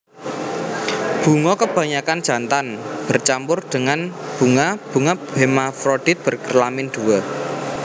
Bunga kebanyakan jantan bercampur dengan bunga bunga hermafrodit berkelamin dua